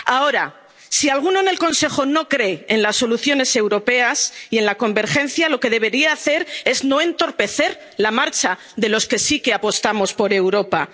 sale nadie. Ahora, si alguno en el Consejo no cree en las soluciones europeas y en la convergencia, lo que debería hacer es no entorpecer la marcha de los que sí que apostamos